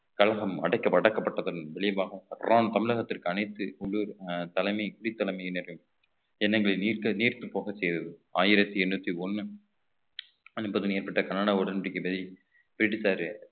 கழகம் அடைக்க~ அடக்கப்பட்டதன் விளைவாக ராம் தமிழகத்திற்கு அனைத்து உள்ளூர் அஹ் தலைமை குடி தலைமையினரின் எண்ணங்களை நீர்த்து நீர்த்து போகச் செய்தது ஆயிரத்தி எண்ணூத்தி ஒண்ணு ஏற்பட்ட கனடா பிடித்தாரு